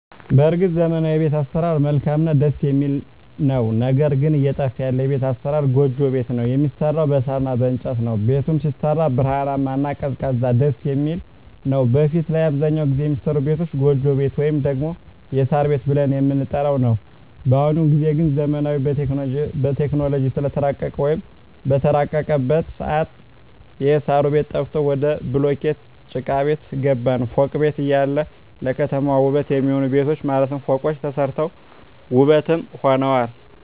በርግጥ ዘመናዊዉ የቤት አሰራር መልካምእና ደስ የሚል ነዉ ነገር ግን እየጠፋ ያለ የቤት አሰራር ጎጆ ቤት ነዉ የሚሰራዉም በሳር እና በእንጨት ነዉ ቤቱም ሲሰራ ብርሃናማ እና ቀዝቃዛም ደስየሚል ነዉ በፊት ላይ አብዛኛዉን ጊዜ የሚሰሩ ቤቶች ጎጆ ቤት ወይም ደግሞ የሳር ቤት ብለን የምንጠራዉ ነዉ በአሁኑ ጊዜ ግን ዘመኑም በቴክኖሎጂ ስለተራቀቀ ወይም በተራቀቀበት ሰአት የእሳሩ ቤት ጠፍቶ ወደ ቡሉኬት ጭቃቤት ገባን ፎቅ ቤት እያለ ለከተማዋ ዉበት የሚሆኑ ቤቶች ማለትም ፎቆች ተሰርተዋል ዉበትም ሆነዋል